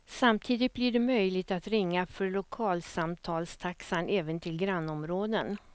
Samtidigt blir det möjligt att ringa för lokalsamtalstaxa även till grannområden.